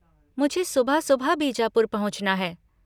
मुझे सुबह सुबह बीजापुर पहुँचना है।